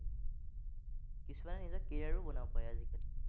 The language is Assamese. কিছুমানে নিজৰ career ও বনাব পাৰে আজিকালি।